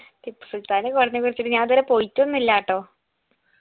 ടിപ്പു സുൽത്താൻൻറെ കോട്ടന കുറിച്ചിട്ട് ഞാനിത് വരെ പോയിറ്റൊന്നില്ലട്ടോ